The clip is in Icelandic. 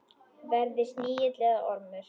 Verði snigill eða ormur.